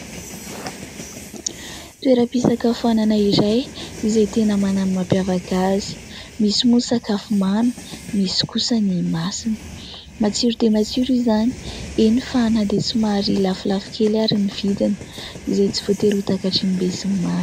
Toera-pisakafoanana izay izay tena manana ny mampiavaka azy : misy moa ny sakafo mamy, misy kosany masira, matsiro dia matsiro izany, eny ! Fa na dia tsy somary lafolafo kely ary ny vidiny izay tsy votery ho takatrin'ny besinimaro.